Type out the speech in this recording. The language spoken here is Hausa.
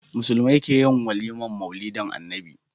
Musulmai keyin walimar maulidin annabi